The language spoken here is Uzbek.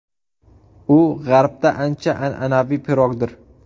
U G‘arbda ancha an’anaviy pirogdir.